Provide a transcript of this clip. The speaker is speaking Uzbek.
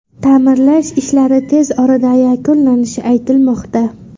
Ta’mirlash ishlari tez orada yakunlanishi aytilmoqda.